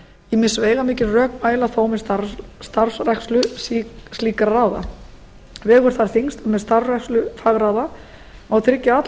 ýmis veigamikil rök mæla þó með starfrækslu slíkra ráða vegur þar þyngst að með starfrækslu fagráða má tryggja að allar